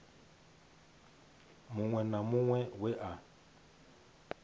muṅwe na muṅwe we a